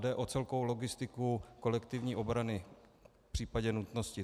Jde o celkovou logistiku kolektivní obrany v případě nutnosti.